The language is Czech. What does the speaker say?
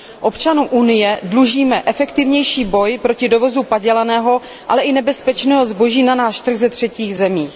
Občanům Unie dlužíme efektivnější boj proti dovozu padělaného, ale i nebezpečného zboží na náš trh ze třetích zemí.